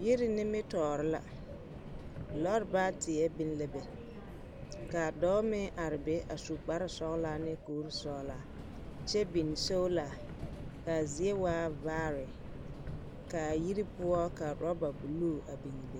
Yiri nimitɔɔre la lɔɔre baateɛ biŋ la be ka dɔɔ meŋ are be a su kpare sɔgelaa ne kuri sɔgelaa kyɛ biŋ sola ka a zie waa vaare ka ayiri poɔ ka oraba sɔgelaa a biŋbe.